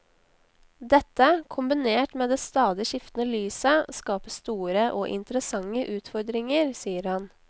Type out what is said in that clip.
Dette, kombinert med det stadig skiftende lyset, skaper store og interessante utfordringer, sier han.